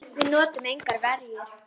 Við notuðum engar verjur.